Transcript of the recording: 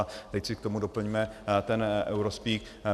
A teď si k tomu doplňme ten eurospeak.